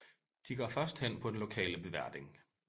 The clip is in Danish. De går først hen på den lokale beverding